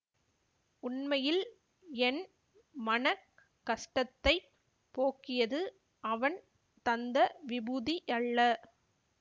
உண்மையில் என் மன கஷ்டத்தைப் போக்கியது அவன் தந்த விபூதியல்ல